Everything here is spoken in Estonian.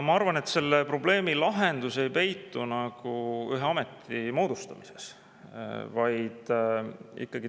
Ma arvan, et selle probleemi lahendus ei peitu ühe ameti moodustamises.